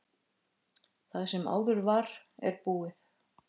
Það sem áður var, er búið.